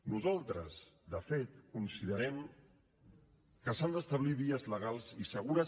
nosaltres de fet considerem que s’han d’establir vies legals i segures